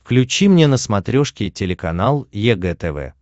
включи мне на смотрешке телеканал егэ тв